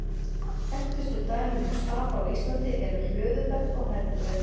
Þekktustu dæmin um stapa á Íslandi eru Hlöðufell og Herðubreið.